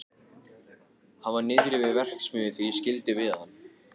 Hann var niðri við verksmiðju þegar ég skildi við hann.